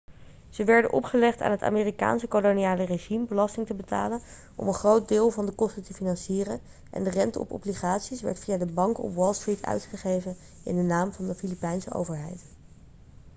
ze werden opgelegd aan het amerikaanse koloniale regime belasting te betalen om een groot deel van de kosten te financieren en de rente op obligaties werd via de banken op wall street uitgegeven in de naam van de filipijnse overheid